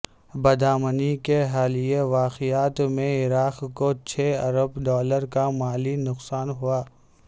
بدامنی کے حالیہ واقعات میں عراق کو چھے ارب ڈالر کا مالی نقصان ہوا